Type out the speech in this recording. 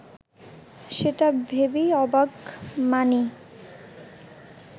সেটা ভেবেই অবাক মানি